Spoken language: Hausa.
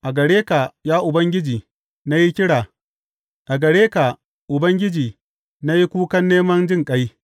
A gare ka, ya Ubangiji, na yi kira; a gare ka Ubangiji na yi kukan neman jinƙai.